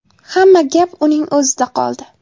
Hamma gap uning o‘zida qoldi.